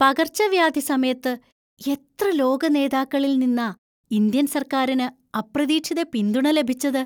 പകർച്ചവ്യാധി സമയത്ത് എത്ര ലോക നേതാക്കളിൽ നിന്നാ ഇന്ത്യൻ സർക്കാരിന് അപ്രതീക്ഷിത പിന്തുണ ലഭിച്ചത്!